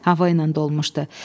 Hava ilə dolmuşdu.